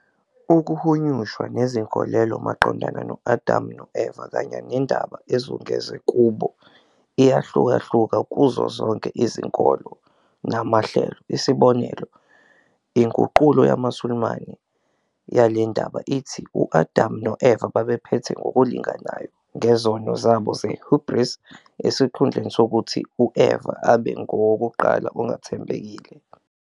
Ukuhunyushwa nezinkolelo maqondana no-Adamu no-Eva kanye nendaba ezungeze kubo iyahlukahluka kuzo zonke izinkolo namahlelo, isibonelo, inguqulo yamaSulumane yale ndaba ithi u-Adam no-Eva babephethe "ngokulinganayo" ngezono zabo ze- hubris, esikhundleni sokuthi u-Eva abe ngowokuqala ongathembekile.